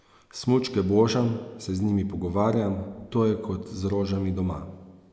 Smučke božam, se z njimi pogovarjam, to je kot z rožami doma.